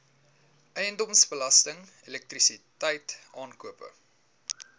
eiendomsbelasting elektrisiteit aankope